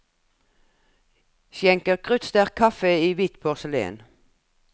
Skjenker kruttsterk kaffe i hvitt porselen.